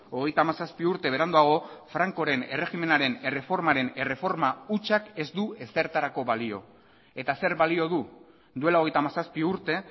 hogeita hamazazpi urte beranduago frankoren erregimenaren erreformaren erreforma hutsak ez du ezertarako balio eta zer balio du duela hogeita hamazazpi urte